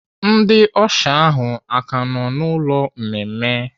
Ndị ọsha ahụ aka nọ n'ụlọ mmemme?